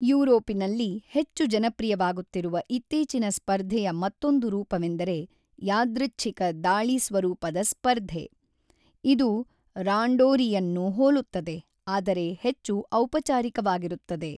ಯುರೋಪಿನಲ್ಲಿ ಹೆಚ್ಚು ಜನಪ್ರಿಯವಾಗುತ್ತಿರುವ ಇತ್ತೀಚಿನ ಸ್ಪರ್ಧೆಯ ಮತ್ತೊಂದು ರೂಪವೆಂದರೆ ಯಾದೃಚ್ಛಿಕ ದಾಳಿ ಸ್ವರೂಪದ ಸ್ಪರ್ಧೆ, ಇದು ರಾಂಡೋರಿಯನ್ನು ಹೋಲುತ್ತದೆ ಆದರೆ ಹೆಚ್ಚು ಔಪಚಾರಿಕವಾಗಿರುತ್ತದೆ.